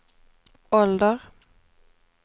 ålder